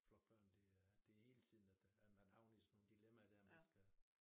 Flok børn det er det hele tiden at øh atman havner i sådan nogen dilemmaer man skal